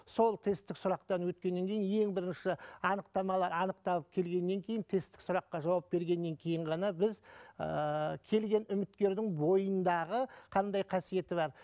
сол тесттік сұрақтан өткеннен кейін ең бірінші анықтамалар анықталып келгеннен кейін тесттік сұраққа жауап бергеннен кейін ғана біз ыыы келген үміткердің бойындағы қандай қасиеті бар